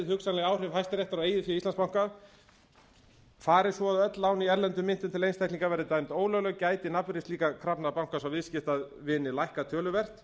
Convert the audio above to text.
hugsanleg áhrif hæstaréttar á eigið fé íslandsbanka fari svo að öll án í erlendum myntum til einstaklinga verði dæmd ólögleg gæti nafnvirði slíkra krafna bankans á viðskiptavini lækkað töluvert